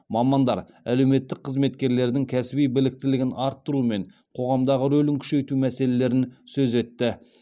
мамандар әлеуметтік қызметкерлердің кәсіби біліктілігін арттыру мен қоғамдағы рөлін күшейту мәселелерін сөз етті